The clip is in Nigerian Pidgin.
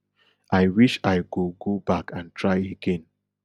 i wish i go go back and try again